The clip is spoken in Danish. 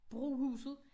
Brohuset